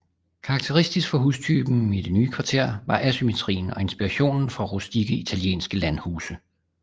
Karakteristisk for hustypen i det nye kvarter var asymmetrien og inspirationen fra rustikke italienske landhuse